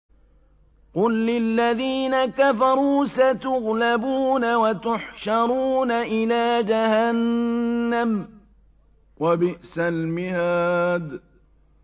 قُل لِّلَّذِينَ كَفَرُوا سَتُغْلَبُونَ وَتُحْشَرُونَ إِلَىٰ جَهَنَّمَ ۚ وَبِئْسَ الْمِهَادُ